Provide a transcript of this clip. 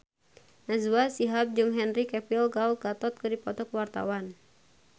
Najwa Shihab jeung Henry Cavill Gal Gadot keur dipoto ku wartawan